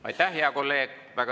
Aitäh, hea kolleeg!